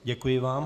Děkuji vám.